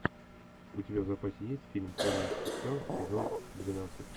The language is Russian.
у тебя в запасе есть фильм помнить все сезон двенадцать